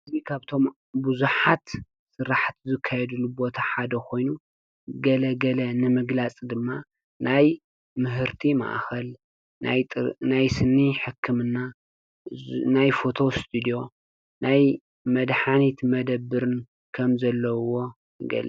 ከብቶም ብዛሓት ስራሓቲ ዝከየድሉ ቦታ ሓደ ኮይኑ ገለገለ ንምግላፅ ድማ ናይ ምህርቲ ማእኸል፣ ናይ ጥ ናይ ስኒ ሕክምና፣ ናይ ፎቶ እስቴድዮ፣ ናይ መድሓኒት መደብርን ከም ዘለዉዎ ይግልፅ።